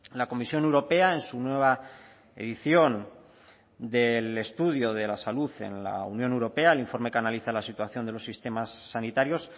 la comisión europea en su nueva edición del estudio de la salud en la unión europea el informe que analiza la situación de los sistemas sanitarios